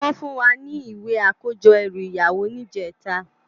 Wòn fún wá ni iwé àkójò èrú iyàwó nijètá